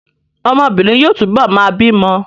Ọmọbìnrin yóò túbọ̀ máa bímọ